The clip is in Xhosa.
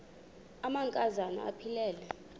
amanka zana aphilele